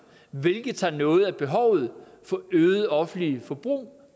hvilket tager noget af behovet ud for et øget offentligt forbrug